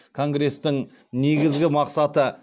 конгрестің негізгі мақсаты